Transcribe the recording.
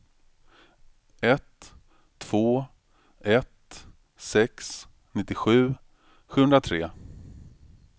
ett två ett sex nittiosju sjuhundratre